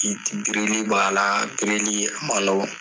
I birili b'a birili a ma nɔgɔn